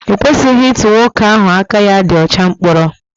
E kwesịghị ịtụ nwoke ahụ aka ya dị ọcha mkpọrọ